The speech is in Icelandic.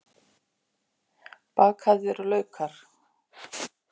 Bakaðir laukar